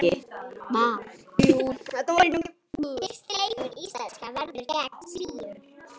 Fyrsti leikur íslenska verður gegn Svíum.